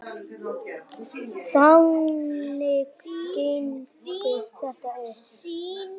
Þannig gengur þetta upp.